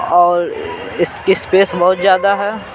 और इस स्पेस बहुत ज्यादा है।